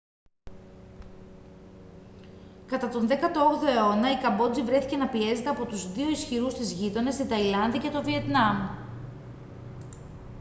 κατά τον 18ο αιώνα η καμπότζη βρέθηκε να πιέζεται από τους δύο ισχυρούς της γείτονες την ταϊλάνδη και το βιετνάμ